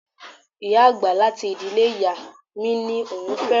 Ìyá àgbà láti ìdílé ìyá mi ní òun fẹ́ràn mi lọpọlọpọ.